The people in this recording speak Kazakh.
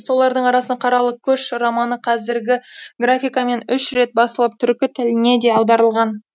солардың арасында қаралы көш романы қазіргі графикамен үш рет басылып түркі тіліне де аударылған